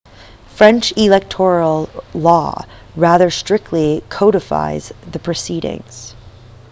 french electoral law rather strictly codifies the proceedings